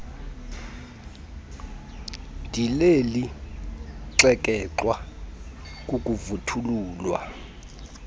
ndileli xekexwa kukuvuthululwa